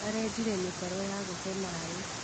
Arenjire mĩtaro ya gũte maĩ.